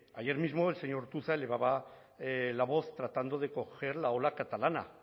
ayer mismo el señor ortuzar elevaba la voz tratando de coger la ola catalana